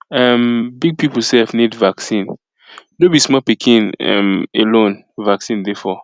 um big people sef need vaccine no be small pikin um alone vaccine dey for